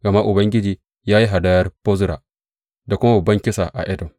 Gama Ubangiji ya yi hadayar Bozra da kuma babban kisa a Edom.